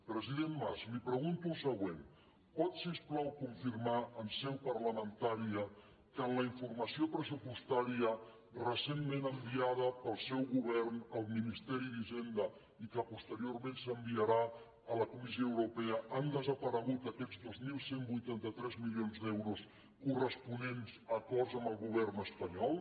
president mas li pregunto el següent pot si us plau confirmar en seu parlamentària que en la informació pressupostària recentment enviada pel seu govern al ministeri d’hisenda i que posteriorment s’enviarà a la comissió europea han desaparegut aquests dos mil cent i vuitanta tres milions d’euros corresponents a acords amb el govern espanyol